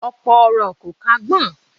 Ọ̀pọ̀ ọ̀rọ̀ kò kún agbọ̀n